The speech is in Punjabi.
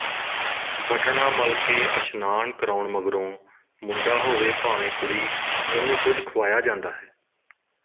ਵਟਣਾ ਮਲ ਕੇ ਅਸ਼ਨਾਨ ਕਰਾਉਣ ਮਗਰੋਂਮੁੰਡਾ ਹੋਵੇ ਭਾਵੇਂ ਕੁੜੀਉਹਨੂੰ ਕੁਝ ਖੁਆਇਆ ਜਾਂਦਾ ਹੈ